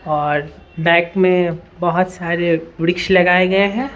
और बैक में बहुत सारे वृक्ष लगाए गए हैं।